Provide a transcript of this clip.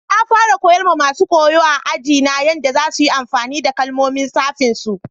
Na fara koyar ma masun koyo a'aji na yadda za su yi amfani da kalmomin safin su.